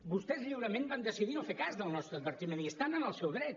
vostès lliurement van decidir no fer cas del nostre advertiment i estan en el seu dret